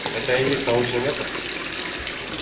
это и есть научный метод